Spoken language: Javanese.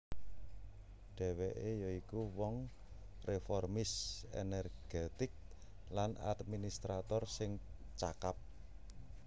Dhèwèké ya iku wong reformis energetik lan administrator sing cakap